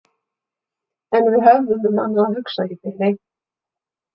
En við höfðum um annað að hugsa í bili.